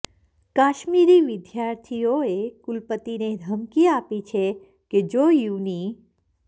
કાશ્મીરી વિદ્યાર્થીઓએ કુલપતિને ધમકી આપી છે કે જો યુનિ